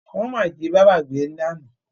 Wọ́n máa jí bábá gbé lána.